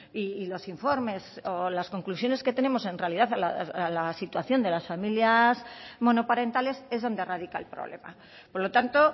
y los informes o las conclusiones que tenemos en realidad a la situación de las familias monoparentales es donde radica el problema por lo tanto